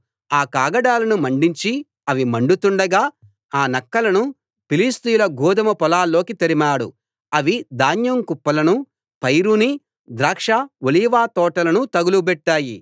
ఆ కాగడాలను మండించి అవి మండుతుండగా ఆ నక్కలను ఫిలిష్తీయుల గోదుమ పొలాల్లోకి తరిమాడు అవి ధాన్యం కుప్పలనూ పైరునీ ద్రాక్ష ఒలీవ తోటలనూ తగులబెట్టాయి